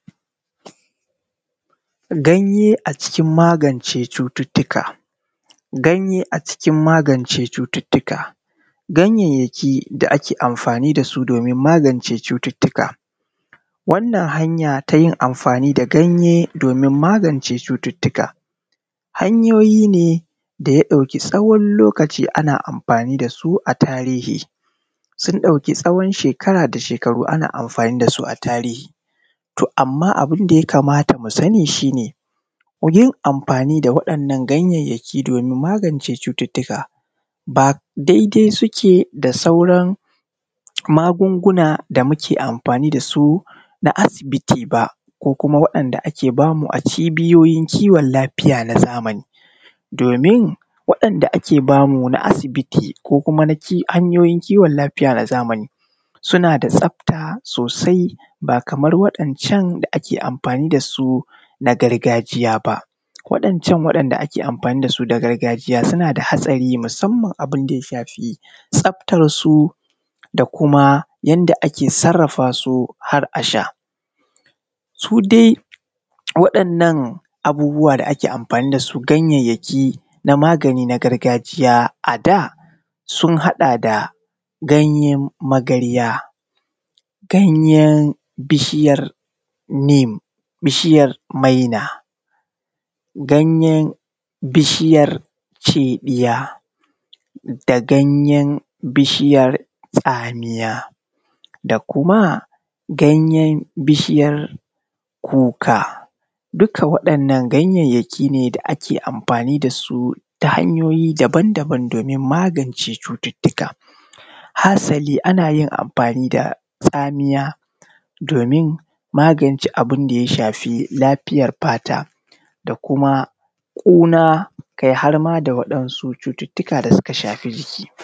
Ganye a cikin magance cututuka. Ganye a cikin magance cututuka, gayayyaki da ake amfani da su domin magance cututuka. Wannan hanya ta yin amfani da ganye domin magance cututuka, hanyoyi ne da ya ɗauki tsawan lokaci ana amfani da su a tarihi. Sun ɗauki tsawan shekara da shekaru ana amfani da su a tarihi. Amma abun da ya kamata mu sani shi ne yin amfani da wa'innan gayyaki domin magance cututuka ba dai dai suke da sauran magunguna da muke amfani da su na asibiti ba, ko kuma wa'inda ake bamu a cibiyoyin kiwon lafiya na zamani. Domin wa'inda ake bamu na asibiti ko kuma na hayoyin kiwon lafiya na zamani suna da tsafta sosai ba kaman waɗancan da ake amfani da su na gargajiya ba. Waɗancan da ake amfani da su na gargajiya suna da hastari musanman abun da ya shafi tsaftar su, da kuma yadda ake sarrafa su har a sha. Su dai waɗannan abuwan da ake amfani da su ganyyaki na magani na gargajiya a da sun haɗa da ganyen magarya, ganyen bishiyan neem, ganyen maina, ganyen bishiyar ceɗiya, da ganyen bishiyar tsamiya, da kuma ganyen bishiyar kuka, duk waɗannan gayayyaki ne da ake amfani da su ta hanyoyi daban daban domin magance cututuka. Hasali ana yin amfani da tsamiya domin magance abun da ya shafi lafiyar fata da kuma, ƙuna, kai har ma da waɗansu cututuka da suka shafi jiki.